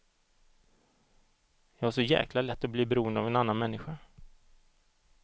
Jag har så jäkla lätt att bli beroende av en annan människa.